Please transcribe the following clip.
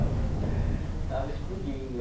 estava estava explodindo.